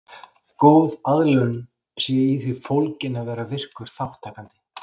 Góð aðlögun sé í því fólgin að vera virkur þátttakandi.